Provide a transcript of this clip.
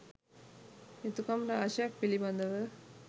යුතුකම් රාශියක් පිළිබඳව